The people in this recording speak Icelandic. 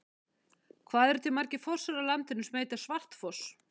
Hvað eru til margir fossar á landinu sem heita Svartfoss?